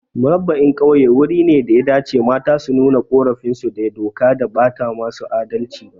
Murabba'in Ƙauye wuri ne daya dace mata su nuna ƙorafin su da doka da bata musu adalci ba